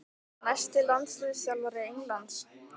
Næsti landsliðsþjálfari Englands?